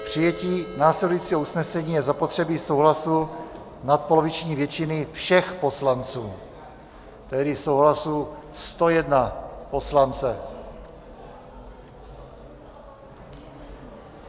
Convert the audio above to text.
K přijetí následujícího usnesení je zapotřebí souhlasu nadpoloviční většiny všech poslanců, tedy souhlasu 101 poslance.